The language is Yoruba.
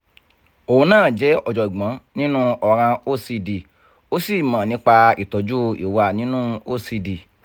óun na je ojogboǹ nínú ọ̀ràn ocd ó sì mọ̀ nípa ìtọ́jú ìwà nínú ocd